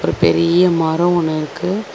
ஒரு பெரிய மரோ ஒன்னு இருக்கு.